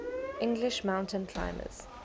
english mountain climbers